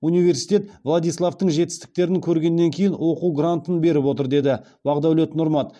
университет владиславтың жетістіктерін көргеннен кейін оқу гарнтын беріп отыр деді бағдәулет нұрмат